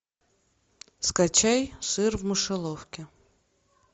скачай сыр в мышеловке